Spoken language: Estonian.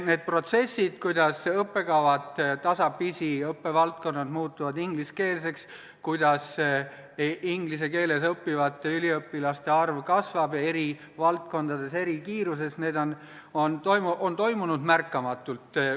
Need protsessid, kuidas õppekavad ja õppevaldkonnad muutuvad tasapisi ingliskeelseks ning kuidas inglise keeles õppivate üliõpilaste arv eri valdkondades ja eri kiirusega kasvab, on toimunud märkamatult.